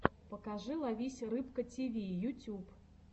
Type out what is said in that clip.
покажи ловись рыбка тиви ютюб